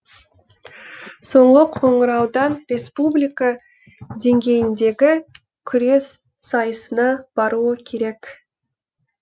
соңғы қоңыраудан республика деңгейіндегі күрес сайысына баруы керек